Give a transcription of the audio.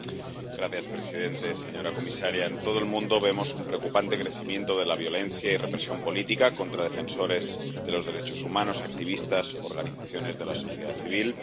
Señor presidente, señora comisaria, en todo el mundo vemos un preocupante crecimiento de la violencia y represión política contra defensores de los derechos humanos, activistas y organizaciones de la sociedad civil.